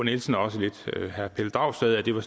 nielsen og også lidt med herre pelle dragsted at det var